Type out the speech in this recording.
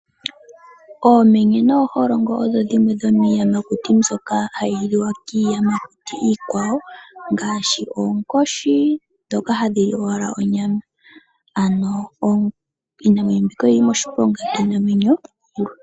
Oomenye nooholongo odho dhimwe dhomiiyamakuti mbyoka hayi liwa kiiyamakuti iikwawo ngaashi oonkoshi, ndhoka hadhi li owala onyama. Ano iinamwenyo mbika oyi li moshiponga kiinamwenyo iikwawo.